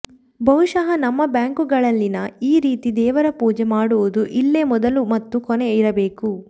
ಬಹುಶ ನಮ್ಮ ಬ್ಯಾಂಕ್ಗಳಲ್ಲಿ ಈ ರೀತಿ ದೇವರ ಪೂಜೆ ಮಾಡುವುದು ಇಲ್ಲೇ ಮೊದಲು ಮತ್ತು ಕೊನೆ ಇರಬೇಕು